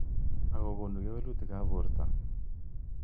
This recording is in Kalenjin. Ako konu kewelutik ab borto.